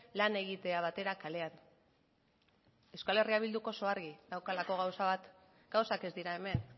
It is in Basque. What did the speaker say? lan egitea batera kalean euskal herria bilduk oso argi daukalako gauza bat gauzak ez dira hemen